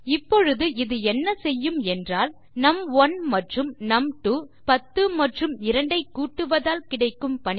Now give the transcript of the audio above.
இப்பொழுது இது என்ன செய்யும் என்றால் நும்1 மற்றும் நும்2 அதாவது 10 மற்றும் 2 ஐ கூட்டுவதால் கிடைக்கும் 12